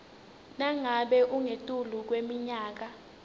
nangabe ungetulu kweminyaka